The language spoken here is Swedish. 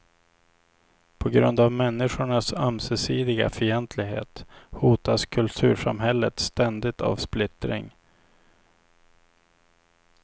På grund av människornas ömsesidiga fientlighet hotas kultursamhället ständigt av splittring.